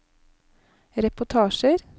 reportasjer